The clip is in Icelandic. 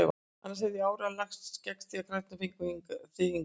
Annars hefði ég áreiðanlega lagst gegn því að krakkarnir fengju þig hingað.